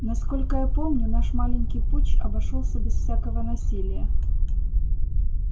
насколько я помню наш маленький путч обошёлся без всякого насилия